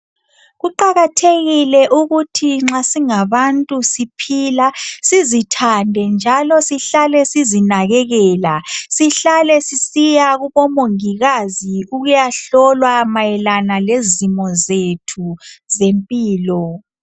Kuqakathekile kakhulu ukuthi nxa singabantu siphila sizithande njalo sihlale sizinakekela. Sihlale sisiya kubo Mongikazi ukuyahlolwa mayelana lezimo zethu zempilo.